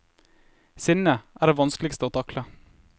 Sinne er det vanskeligste å takle.